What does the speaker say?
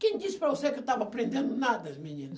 Quem disse para você que eu estava aprendendo nada, menina?